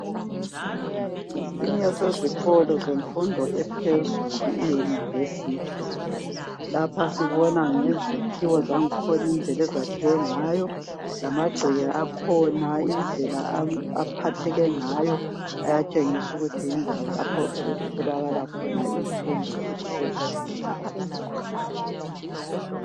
ngesinye sezikolo zemfundo ephezulu i university ,lapha sibona ngezakhiwo zangkhona indlela ezakhiwe ngayo lamagceke akhona indlela aphatheke ngayo ayatshengisukuthi kutholakala khona infundo ephezulu